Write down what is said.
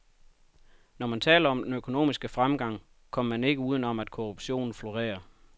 Når man taler om den økonomiske fremgang, kommer man ikke uden om, at korruptionen florerer.